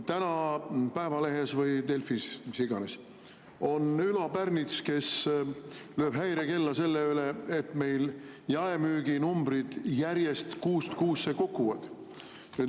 Täna Päevalehes või Delfis, kus iganes, Ülo Pärnits lööb häirekella selle pärast, et meil jaemüüginumbrid järjest, kuust kuusse kukuvad.